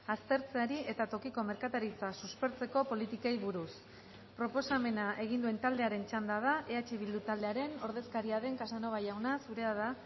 aztertzeari eta tokiko merkataritza suspertzeko politikei buruz proposamena egin duen taldearen txanda da eh bildu taldearen ordezkaria den casanova jauna zurea da